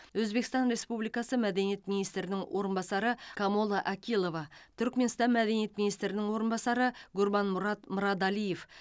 өзбекстан республикасы мәдениет министрінің орынбасары камола акилова түркіменстан мәдениет министрінің орынбасары гурбанмұрад мырадалиев